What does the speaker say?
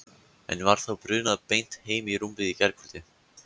En var þá brunað beint heim í rúmið í gærkvöld?